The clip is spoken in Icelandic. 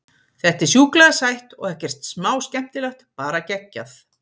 Þetta er sjúklega sætt og ekkert smá skemmtilegt, bara geggjað.